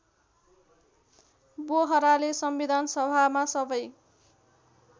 बोहराले संविधानसभामा सबै